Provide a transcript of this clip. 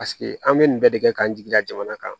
Paseke an bɛ nin bɛɛ de kɛ k'an jigi da jamana kan